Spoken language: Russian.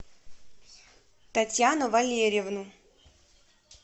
татьяну валерьевну